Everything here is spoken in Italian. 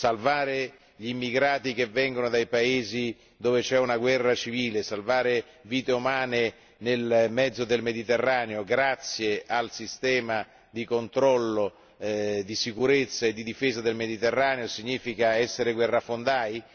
Salvare gli immigrati provenienti da paesi dove è in corso una guerra civile, salvare vite umane nel mezzo del Mediterraneo grazie al sistema di controllo di sicurezza e di difesa del Mediterraneo significa forse essere guerrafondai?